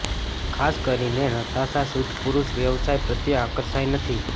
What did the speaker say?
ખાસ કરીને નતાશા શુદ્ધ પુરૂષ વ્યવસાય પ્રત્યે આકર્ષાય નથી